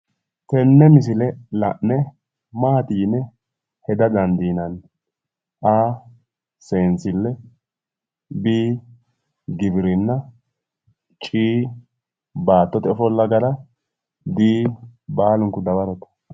Tini misile la'ne mati yine heda dandiinanni? a. seensille b. giwirinna c. baattote ofolla gara d. baalunku dawarote